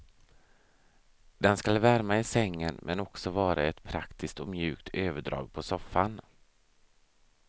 Den skall värma i sängen men också vara ett praktiskt och mjukt överdrag på soffan.